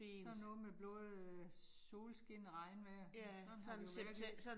Sådan noget med både solskin og regnvejr. Sådan har det jo været her